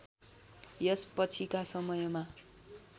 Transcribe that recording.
यसपछिका समयमा